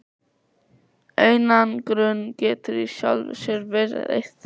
Einangrun getur í sjálfu sér verið eitt þeirra.